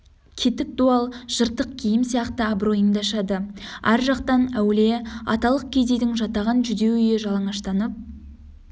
кетік дуал жыртық киім сияқты абыройыңды ашады ар жақтан әулие аталық кедейдің жатаған жүдеу үйі жалаңаштанып